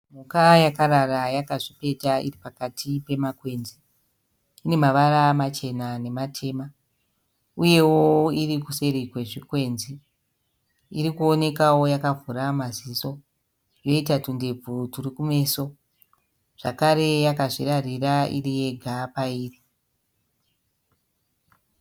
Mhuka yakarara yakazvipeta iripakati pemakwenzi. Ine mavara machena nematema. Uyewo irikuseri kwezvikwenzi. Irikuonekawo yakavhura maziso yoita tundebvu turi kumeso. Zvakare yakazvirarira iri yega pairi.